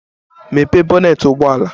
Mepee bonnet ụgbọ ala!